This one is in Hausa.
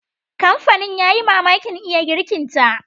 Kamfanin ya yi mamakin iya girkinta.